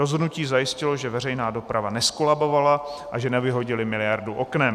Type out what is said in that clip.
Rozhodnutí zajistilo, že veřejná doprava nezkolabovala a že nevyhodili miliardu oknem.